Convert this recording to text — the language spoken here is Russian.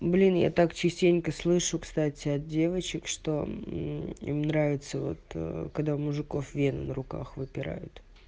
блин я так частенько слышу кстати от девочек что им нравится вот когда у мужиков вены на руках выпирают